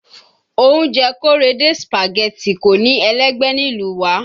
Oúnjẹ Korede Spaghetti kò ní ẹlẹ́gbẹ́ nílùú wa